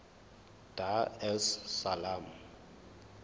dar es salaam